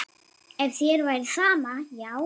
Ef þér væri sama, já.